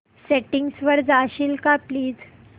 settings वर जाशील का प्लीज